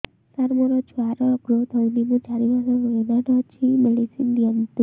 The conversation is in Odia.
ସାର ମୋର ଛୁଆ ର ଗ୍ରୋଥ ହଉନି ମୁ ଚାରି ମାସ ପ୍ରେଗନାଂଟ ଅଛି ମେଡିସିନ ଦିଅନ୍ତୁ